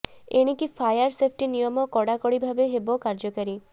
ଏଣିକି fire safety ନିୟମ କଡା କଡି ଭାବେ ହେବ କାର୍ଯ୍ୟକାରୀ